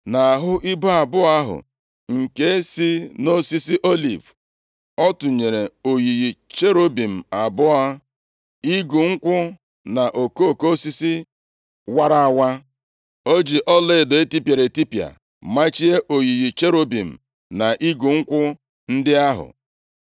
Nʼahụ ibo abụọ ahụ nke si nʼosisi oliv, ọ tụnyere oyiyi cherubim abụọ, igu nkwụ na okoko osisi wara awa. O ji ọlaedo etipịara etipịa machie oyiyi cherubim na igu nkwụ ndị ahụ.